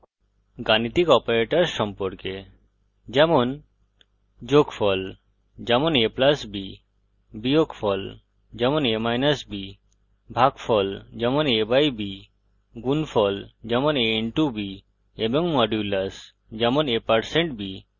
গাণিতিক অপারেটরস সম্পর্কে যেমন যোগ: যেমন a + b বিয়োগ: যেমন a b ভাগ: যেমন a / b গুণ: যেমন a * b এবং % মডুলাস: যেমন a % b